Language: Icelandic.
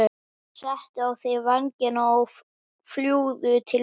Settu á þig vængina og fljúgðu til mín.